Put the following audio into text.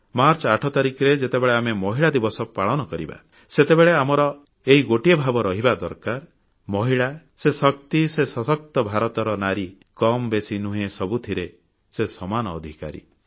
March 8 ତାରିଖରେ ଯେତେବେଳେ ଆମେ ମହିଳା ଦିବସ ପାଳନ କରିବା ସେତେବେଳେ ଆମର ଏହି ଗୋଟିଏ ଭାବ ରହିବା ଦରକାର ମହିଳା ସେ ଶକ୍ତି ସେ ସଶକ୍ତ ଭାରତର ନାରୀ କମ୍ ବେଶୀ ନୁହେଁ ସବୁଥିରେ ସେ ସମାନ ଅଧିକାରୀ